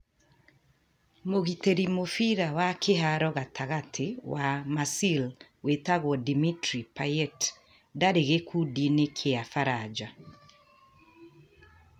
Mũgitĩri mũbira wa kĩharo gatagatĩ wa Marseille wĩtagwo Dimitri Payet ndarĩ gĩkundi-inĩ gĩa Baranja.